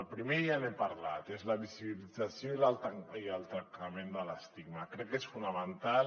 el primer ja n’he parlat és la visibilització i el tractament de l’estigma crec que és fonamental